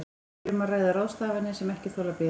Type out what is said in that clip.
Hér er um að ræða ráðstafanir sem ekki þola bið.